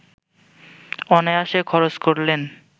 অনায়াসে খরচ করলেন